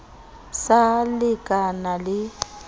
sa le ke na le